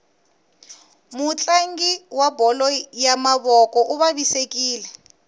mutlangi wa bolo ya mavoko uvavisekile